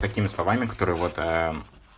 такими словами которые вот